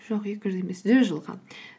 жоқ екі жүз емес жүз жылға